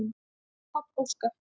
Páll Óskar.